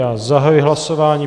Já zahajuji hlasování.